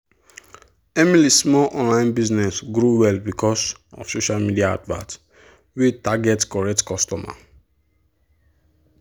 emily small online business grow well because of social media advert wey target correct customers.